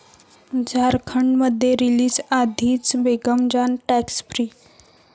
झारखंडमध्ये रिलीजआधीच 'Begum Jaan' 'tax free'